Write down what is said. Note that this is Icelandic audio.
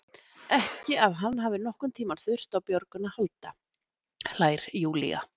Ekki að hann hafi nokkurn tíma þurft á björgun að halda, hlær Júlía.